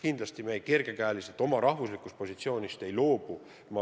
Kindlasti me kergel käel oma riigi positsioonist ei loobu.